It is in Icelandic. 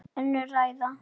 Önnur ræða.